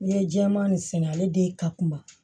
N'i ye jɛman nin sɛnɛ ale de ka kuma